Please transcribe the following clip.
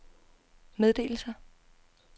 meddelelser